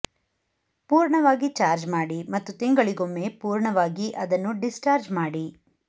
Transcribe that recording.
ಪೂರ್ಣವಾಗಿ ಚಾರ್ಜ್ ಮಾಡಿ ಮತ್ತು ತಿಂಗಳಿಗೊಮ್ಮೆ ಪೂರ್ಣವಾಗಿ ಅದನ್ನು ಡಿಸ್ಚಾರ್ಜ್ ಮಾಡಿ